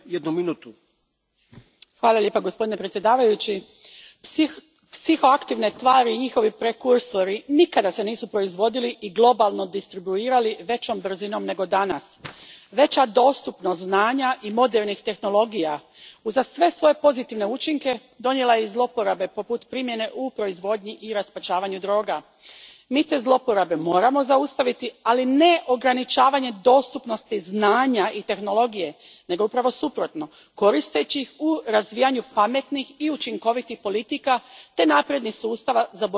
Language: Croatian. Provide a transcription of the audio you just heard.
Gospodine predsjedniče, psihoaktivne tvari i njihovi prekursori nikada se nisu proizvodili i globalno distribuirali većom brzinom nego danas. Veća dostupnost znanja i modernih tehnologija uza sve svoje pozitivne učinke donijela je i zloporabe poput primjene u proizvodnji i raspačavanju droga. Mi te zloporabe moramo zaustaviti, ali ne ograničavanjem dostupnosti znanja i tehnologije nego upravo suprotno, koristeći ih u razvijanju pametnih i učinkovitih politika te naprednih sustava za borbu protiv organiziranog kriminala.